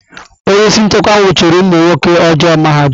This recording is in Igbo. Onye isi nchekwa nwụchiri ụmụ nwoke ọjọọ mahadum.